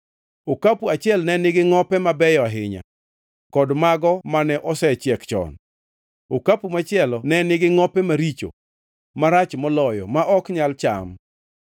Okapu achiel ne nigi ngʼope mabeyo ahinya, kod mago mane osechiek chon; okapu machielo ne nigi ngʼope maricho, marach moloyo ma ok nyal cham.